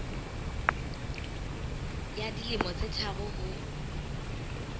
ya dilemo tse tharo ho